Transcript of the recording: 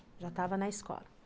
Já estava na escola.